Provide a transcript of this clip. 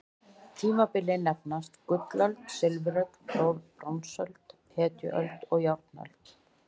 Tímabilin nefnast: gullöld, silfuröld, bronsöld, hetjuöld og járnöld.